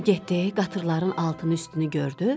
Bu da getdi, qatırların altını üstünü gördü.